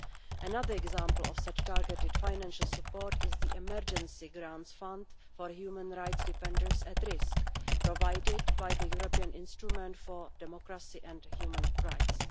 Another example of such targeted financial support is the Emergency Grants Fund for human rights defenders at risk, provided by the European Instrument for Democracy and Human Rights.